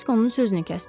Krisk onun sözünü kəsdi.